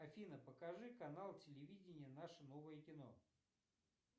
афина покажи канал телевидение наше новое кино